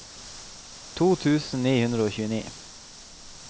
to tusen ni hundre og tjueni